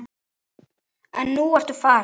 En nú ertu farin.